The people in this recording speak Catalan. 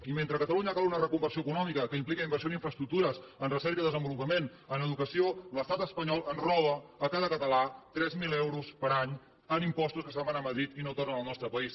i mentre a catalunya cal una reconversió econòmica que impliqui inversió en infraestructures en recerca i desenvolupament en educació l’estat espanyol ens roba a cada català tres mil euros per any en impostos que se’n van a madrid i que no tornen al nostre país